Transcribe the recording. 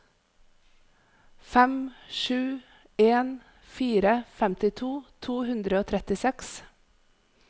fem sju en fire femtito to hundre og trettiseks